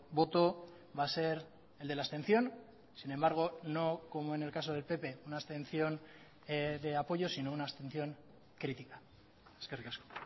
voto va a ser el de la abstención sin embargo no como en el caso del pp una abstención de apoyo sino una abstención critica eskerrik asko